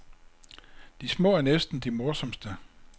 De små er næsten de morsomste.